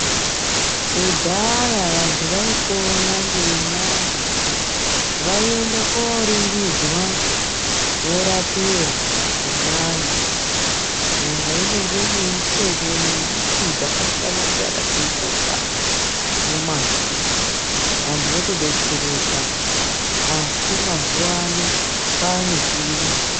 Kudhaya vantu vaipona ngenyanga. Vaienda kooringidzwa vorapiwa ngenyanga. Nyanga inenge ine mitombo nembiti dzakasiyana-siyana dzeinotsa mumavhu, antu otodetsereka asi mazuvano kwaane chiyungu.